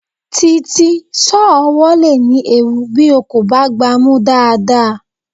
Títí, sọ́ọ̀ ọwọ́ le ní ewu bí o kò bá gbá a mú dáadáa.